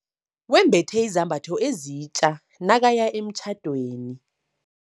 Wembethe izambatho ezitja nakaya emtjhadweni.